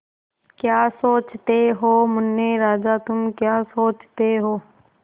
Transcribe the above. क्या सोचते हो मुन्ने राजा तुम क्या सोचते हो